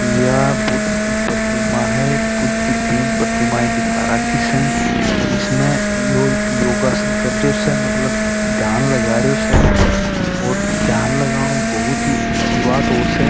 यह बुद्ध की प्रतिमा है बुद्ध की तीन प्रतिमा दिखा राखी स इसमें योगासन कर रहे स ध्यान लगारो स ध्यान लगाना बहुत ही अच्छी बात होव स।